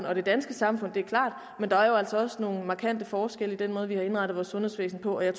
og det danske samfund det er klart men der er jo altså også nogle markante forskelle i den måde vi har indrettet vores sundhedsvæsen på og jeg